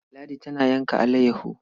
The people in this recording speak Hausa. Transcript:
Ladi tana yanka alayyaho.